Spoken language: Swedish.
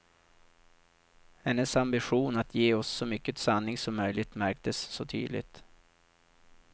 Hennes ambition att ge oss så mycket sanning som möjligt märktes så tydligt.